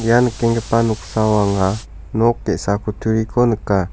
ia nikenggipa noksao anga nok ge·sa kutturiko nika.